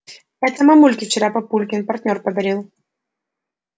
это мамульке вчера папулькин партнёр подарил